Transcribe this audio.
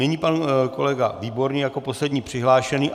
Nyní pan kolega Výborný jako poslední přihlášený.